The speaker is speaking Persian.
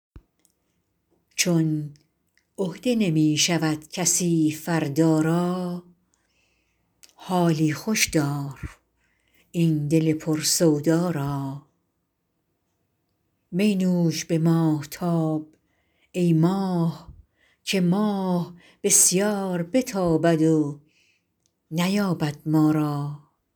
چون عهده نمی شود کسی فردا را حالی خوش دار این دل پر سودا را می نوش به ماهتاب ای ماه که ماه بسیار بتابد و نیابد ما را